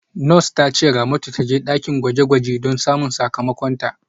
Nurse ta ce Ramatu ta je dakin gwaje-gwaje don samun sakamakonta.